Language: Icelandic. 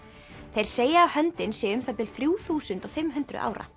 þeir segja að höndin sé um það bil þrjú þúsund og fimm hundruð ára